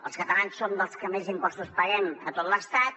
els catalans som dels que més impostos paguem a tot l’estat